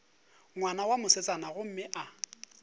ngwana wa mosetsana gomme a